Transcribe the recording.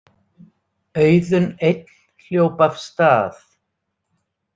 Auðunn einn hljóp af stað.